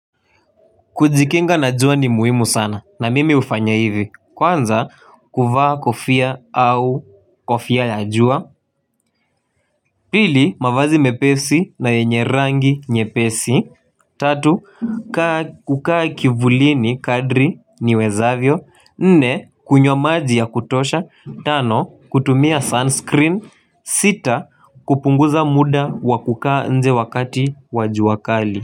Kujikinga na jua ni muhimu sana na mimi hufanya hivi kwanza kuvaa kofia au kofia ya jua. Pili mavazi mepesi na yenye rangi nyepesi. Tatu kukaa kivulini kadri niwezavyo. Nne kunywa maji ya kutosha. Tano kutumia sunscreen. Sita kupunguza muda wa kukaa nje wakati wa jua kali.